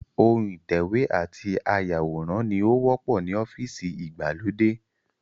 Ohun ìtẹ̀wé àti áyàwòrán ni ó wọ́pọ̀ ní ọ́fíìsì ìgbàlódé